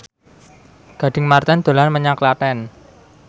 Gading Marten dolan menyang Klaten